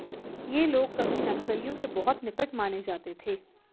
ये लोग कभी नक्सलियों के बहुत निकट माने जाते थे